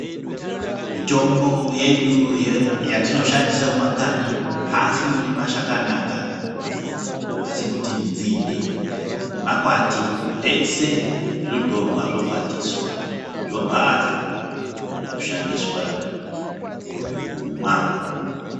Mitombo yedu yatinoshandise mumakanyi haasindori mashakani akadi, asikuti nzinde nemakwati zveshe zvinotorwa zvokwatiswa zvobhahla zvoshandiswe mukumwa.